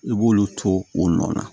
I b'olu to o nɔ na